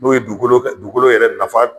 N'o ye dugukolo ka dugukolo yɛrɛ nafa